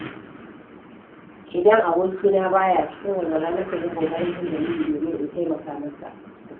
Idan abokina baya cikin walwala, nakan yi ƙoƙarin jin dalili domin in taimaka masa.